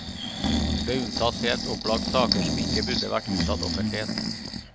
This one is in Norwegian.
Det unntas helt opplagt saker som ikke burde vært unntatt offentlighet.